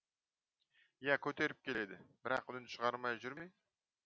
иә көтеріп келеді бірақ үнін шығармай жүр ме